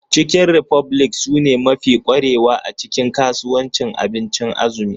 Chicken republic sune mafi kwarewa a cikin kasuwancin abincin azumi.